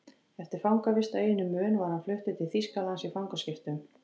Eftir fangavist á eyjunni Mön var hann fluttur til Þýskalands í fangaskiptum.